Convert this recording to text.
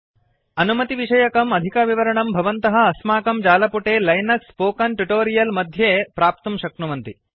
अनुमतिविषयकम् अधिकविवरणं भवन्तः अस्माकं जालपुटे लिनक्स् स्पोकन् ट्योटोरियल् मध्ये प्राप्तुं शक्नुवन्ति